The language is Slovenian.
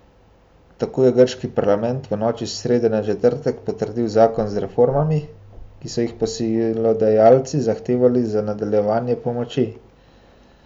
Tako je grški parlament v noči s srede na četrtek potrdil zakon z reformami, ki so jih posojilodajalci zahtevali za nadaljevanje pomoči.